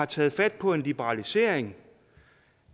taget fat på en liberalisering